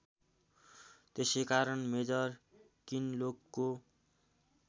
त्यसैकारण मेजर किनलोकको